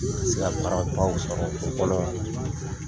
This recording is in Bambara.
N bɛ se ka baarabaw sɔrɔ o kɔnɔ na!